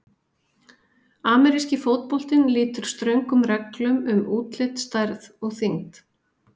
Ameríski fótboltinn lýtur ströngum reglum um útlit, stærð og þyngd.